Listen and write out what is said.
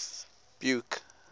buke